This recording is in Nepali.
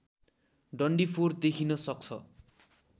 डन्डीफोर देखिन सक्छ